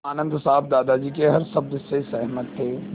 आनन्द साहब दादाजी के हर शब्द से सहमत थे